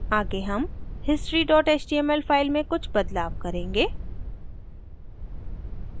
आगे हम history html file में कुछ बदलाव करेंगे